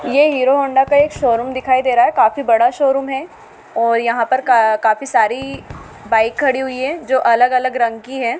ये Hero Honda का एक शोरूम दिखाई दे रहा है काफी बड़ा शोरूम है और यहां पर का काफी सारी बाइक खड़ी हुई है जो अलग अलग रंग की है।